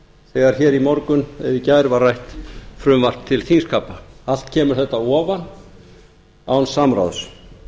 hér í morgun eða í gær var rætt frumvarp til þingskapa allt kemur þetta að ofan án samráðs